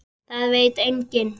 Það veit enginn